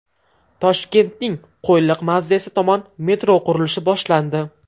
Toshkentning Qo‘yliq mavzesi tomon metro qurilishi boshlandi.